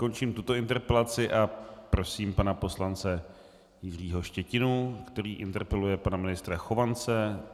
Končím tuto interpelaci a prosím pana poslance Jiřího Štětinu, který interpeluje pana ministra Chovance.